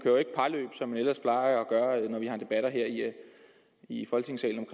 jo ikke parløb som man ellers plejer at gøre når vi har debatter her i folketingssalen